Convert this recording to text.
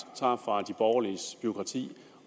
fra de borgerliges bureaukrati